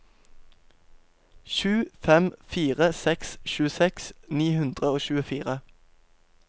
sju fem fire seks tjueseks ni hundre og tjuefire